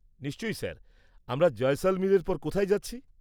নিশ্চয়ই স্যার, আমরা জয়সলমীরের পর কোথায় যাচ্ছি?